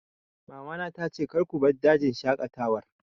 Mama na ta ce 'Kar ku bar dajin shaƙatawar